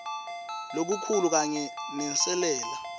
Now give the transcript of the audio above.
lokukhulu kanye nenselela